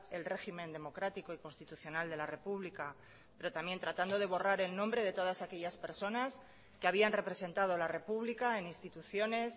el régimen democrático y constitucional de la república pero también tratando de borrar el nombre de todas aquellas personas que habían representado la república en instituciones